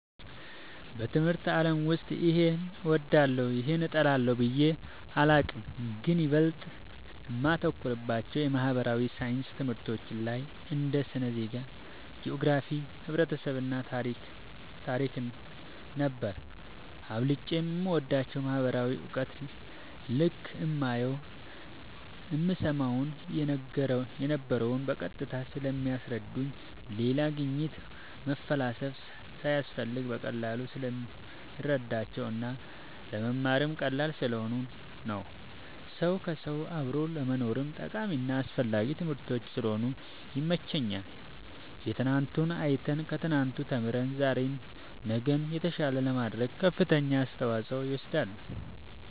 በትምህርት አለም ውስጥ ይሄን እወዳለሁ ይህን እጠላለሁ ብየ አላቅም ግን ይበልጥ እማተኩርባቸው የማህበራዊ ሣይንስ ትምህርቶች ላይ እንደ ስነ ዜጋ ,ጅኦግራፊክስ ,ህብረተሰብ ,ታሪክ ነበር አብልጨም የምወዳቸው ማህበራዊ እውቀት ልክ እማየውን እምሰማውን የነበረው በቀጥታ ስለሚያስረዱኝ ሌላ ግኝት መፈላሰፍ ሳያስፈልግ በቀላሉ ስለምረዳቸው እና ለመማርም ቀላል ስለሆኑ ነው ሰው ከውሰው አብሮ ለመኖርም ጠቃሚና አስፈላጊ ትምህርቶች ስለሆኑ ይመቸኛል የትናንቱን አይተን ከትናንቱ ተምረን ዛሬ ነገን የተሻለ ለማድረግ ከፍተኛውን አስተዋፅኦ ይወስዳሉ